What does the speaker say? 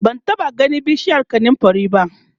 ban taɓa ganin bishiyar kanumfari ba